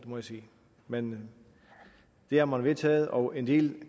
må jeg sige men det har man vedtaget og en del